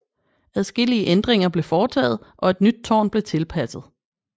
Adskillige ændringer blev foretaget og et nyt tårn blev tilpasset